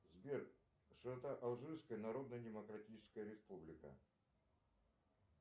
сбер широта алжирская народная демократическая республика